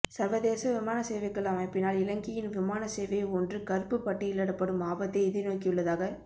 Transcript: சர்வதேச விமானசேவைகள் அமைப்பினால் இலங்கையின் விமான சேவை ஒன்று கறுப்புப் பட்டியலிடப்படும் ஆபத்தை எதிர்நோக்கியுள்ளதாக